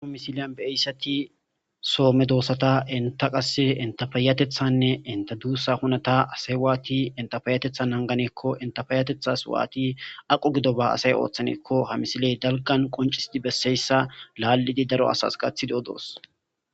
misiliyan be eyssati soome doossata enta qase entafayatethanne inta duussa hunata asay waati entafayatethan nanganeekko entafayatethas waati aqo gido ba asay ooththaneekko ha misiley dalqan qoncisidi besseyssa laallidi daro asas qathideodoos